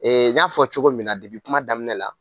n y'a fɔ cogo min na debi kuma daminɛ la